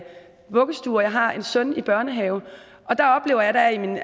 vuggestue og jeg har en søn i børnehave og der oplever jeg da i min